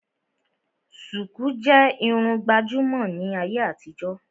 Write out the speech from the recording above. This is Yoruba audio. Sùkú jẹ́ Irun gbàjúmọ̀ ní ayé àtijó